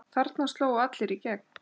Þarna slógu allir í gegn.